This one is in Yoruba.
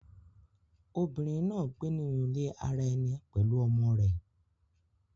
Obìnrín náa gbé nínú ilé àrà ẹní pẹlú ọmọ rẹ.